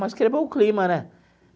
Mas quebrou o clima, né?